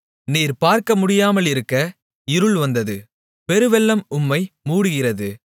நீர் பார்க்க முடியாமலிருக்க இருள் வந்தது பெருவெள்ளம் உம்மை மூடுகிறது